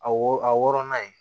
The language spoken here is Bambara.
A wo a wɔrɔnan ye